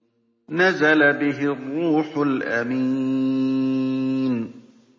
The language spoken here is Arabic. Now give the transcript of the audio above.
نَزَلَ بِهِ الرُّوحُ الْأَمِينُ